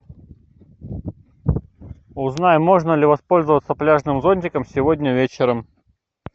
узнай можно ли воспользоваться пляжным зонтиком сегодня вечером